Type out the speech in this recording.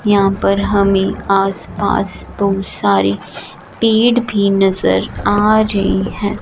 यहां पर हमें आस पास बहुत सारी पेड़ भी नजर आ रही है।